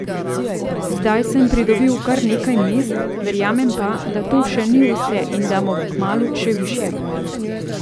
Zdaj sem pridobil kar nekaj mest, verjamem pa, da to še ni vse in da bom kmalu še višje.